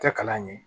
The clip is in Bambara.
Tɛ kalan ɲɛ